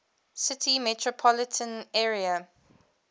city metropolitan area